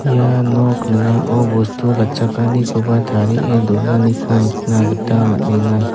ia nok ning·ao bostu gatchakanikoba tarie donaniko nikna gita man·enga.